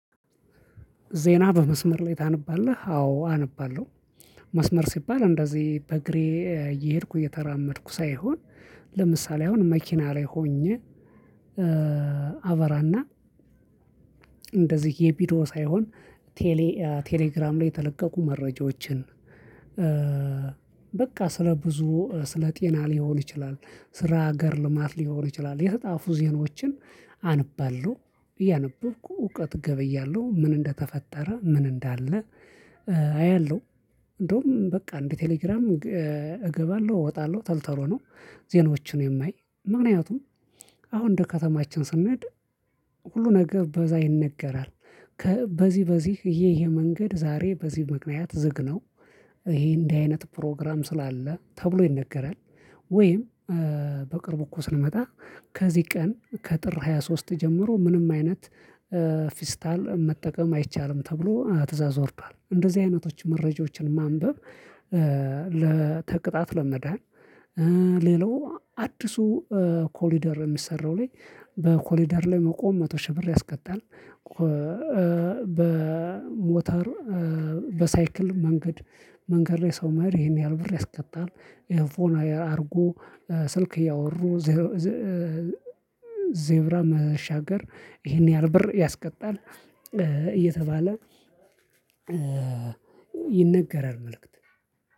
ዜና በመስመር ላይ ታነባለህ አዎ አነባለሁ። መስመር ሲባል እንደዚህ በእግሬ እየሄድኩ እየተራመድኩ ሳይሆን ለምሳሌ አሁን መኪና ላይ ሆኜ አበራና እንደዚህ የቢዶ ሳይሆን ቴሌ ቴሌግራም ላይ የተለቀቁ መረጃዎችን የመረጃዎችን በቃ ስለ ብዙ ስለ ጤና ሊሆን ይችላል ስራ ሀገር ልማት ሊሆን ይችላል የተጻፉ ዜናዎችን አንባለሁ። እያነበብኩ እውቀት ገበያለሁ ምን እንደተፈጠረ ምን እንዳለ አያለሁ። እንደውም በቃ እንደ ቴሌግራም እገባለሁ እወጣለሁ ቶል ቶሎ ነው። ዜናዎችን የማይ ምክንያቱም አሁን እንደ ከተማችን ስንሄድ ሁሉ ነገር በዛ ይነገራል። በዚህ በዚህ ይሄ መንገድ ዛሬ በዚህ ምክንያት ዝግ ይሄ እንዲህ አይነት ፕሮግራም ስላለ ተብሎ ይነገራል። ወይም በቅርቡ እኮ ስንመጣ ከዚህ ቀን ከጥር ሃያ ሶስት ጀምሮ ምንም አይነት ፊስታል መጠቀም አይቻልም ተብሎ ትእዛዝ ወርዷል እንደዚህ አይነቶች መረጃዎችን ማንበብ። ለተቅጣት ለመዳን ሌላው አዲሱ ኮሊደር የሚሰራው ላይ በኮሊደር ላይ መቆም መቶ ሺህ ብር ያስቀጣል። በሞተር በሳይክል መንገድ ላይ ሰው መሄድ ይሄን ያህል ብር ያስቀጣል። ኤርፎን አድርጎ ስልክ እያወሩ ዜብራ መሻገር ይሄን ያህል ብር ያስቀጣል። እየተባለ ይነገራል መልእክት